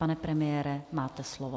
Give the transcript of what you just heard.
Pane premiére, máte slovo.